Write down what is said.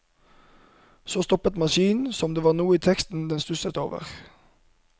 Så stoppet maskinen som om det var noe i teksten den stusset over.